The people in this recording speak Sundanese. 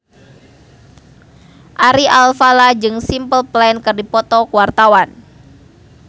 Ari Alfalah jeung Simple Plan keur dipoto ku wartawan